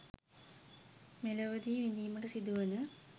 මෙලොවදී විඳීමට සිදුවන